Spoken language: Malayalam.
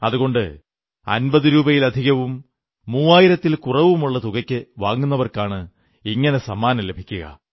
അതുകൊണ്ട് 50 രൂപയിലധികവും 3000 ൽ കുറവുമുള്ള തുകയ്ക്കു വാങ്ങുന്നവർക്കാണ് ഇങ്ങനെ സമ്മാനം ലഭിക്കുക